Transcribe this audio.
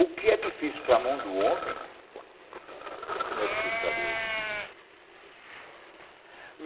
O que é difícil para a mão do homem, não é difícil para Deus.